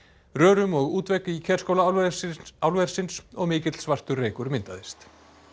rörum og útvegg í Kerskála álversins álversins og mikill svartur reykur myndaðist